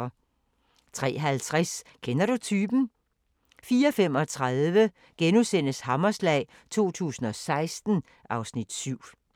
03:50: Kender du typen? * 04:35: Hammerslag 2016 (Afs. 7)*